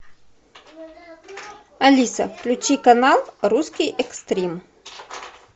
алиса включи канал русский экстрим